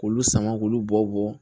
K'olu sama k'olu bɔ bɔ